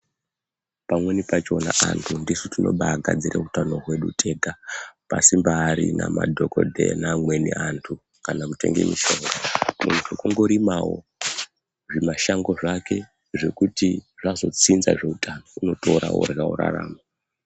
Pamweni pachona antu ndisu tinobaagadzira utano hwedu tega pasimbaarina madhokodheya neamweni antu kana kutenge mishonga. Muntu kungorimawo zvimashango zvake zvekuti zvazotsinza zveutano unotora orya orarama.